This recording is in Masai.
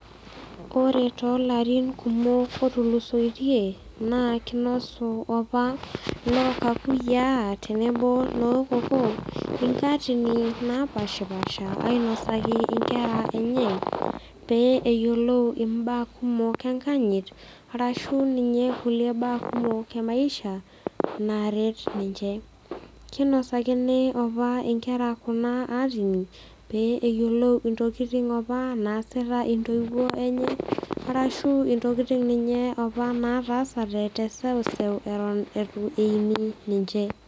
Kore tolarin kumok otulusoitie naa keinosu opa lookakuyia tenebo nookokoo inkaatini naapaashipaasha ainosaki inkera enye pee eyolou imbaa kumok enkanyit arashu ninye kulie baa kumok emaisha naaret ninche. Keinasakini opa inkera kuna aatini pee eyolou intokitin apa naasita intoiwuo enye arashu intokitin ninye naataasate te seuseu eton eitu eini ninche.